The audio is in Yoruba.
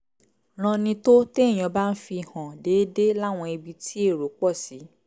ranni tó téèyàn bá ń fi hàn déédéé láwọn ibi tí èrò pọ̀ sí